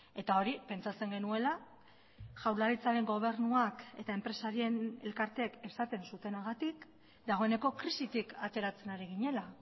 eta hori pentsatzen genuela jaurlaritzaren gobernuak eta enpresarien elkarteek esaten zutenagatik dagoeneko krisitik ateratzen ari ginela